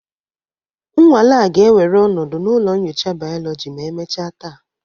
Nnwale a ga-ewere ọnọdụ na ụlọ nyocha Biology ma emechaa taa